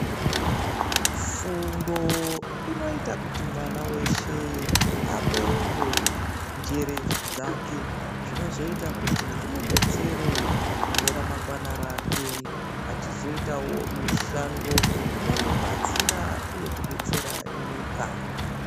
Fundo inoita kuti mwana veshe abeurwe njere dzake zvinozoita kuti zvimubetsere mune ramangwana rake. Achiziitavo mushando inomubatsira uye kubetsera nyika.